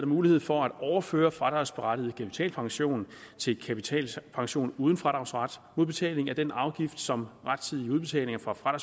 mulighed for at overføre fradragsberettiget kapitalpension til kapitalpension uden fradragsret mod betaling af den afgift som rettidige udbetalinger fra fra